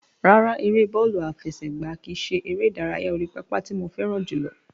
Rárá, ère bọ́ọ̀lù àfẹsẹ̀gbá kìí ṣe ère ìdárayá orí pápá tí mo fẹ́ràn jùlọ.